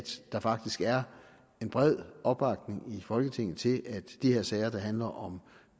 der faktisk er bred opbakning i folketinget til at de her sager der handler om